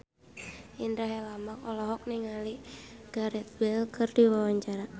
Indra Herlambang olohok ningali Gareth Bale keur diwawancara